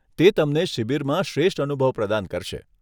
તે તમને શિબિરમાં શ્રેષ્ઠ અનુભવ પ્રદાન કરશે.